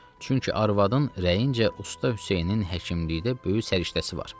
Çünki arvadın rəyincə usta Hüseynin həkimlikdə böyük səriştəsi var.